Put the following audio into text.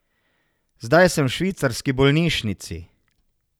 Zdaj sem v švicarski bolnišnici.